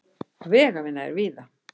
Vegavinna er víða